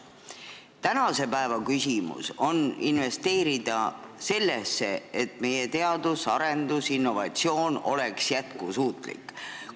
Tänase päeva küsimus on investeerida sellesse, et meie teadus, arendus, innovatsioon oleks jätkusuutlik.